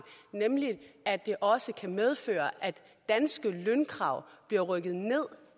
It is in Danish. nemlig at det også kan medføre at danske lønkrav bliver rykket ned